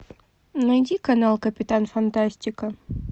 найди канал капитан фантастика